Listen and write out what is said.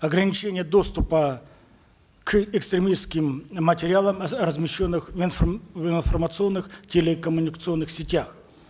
ограничение доступа к экстремистским материалам размещенных в в информационных телекоммуникационных сетях